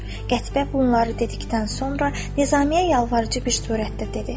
Qətibə bunları dedikdən sonra Nizamiye yalvarıcı bir surətdə dedi.